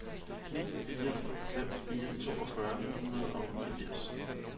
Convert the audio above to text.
ni fire fem fire toogfyrre ni hundrede og niogfirs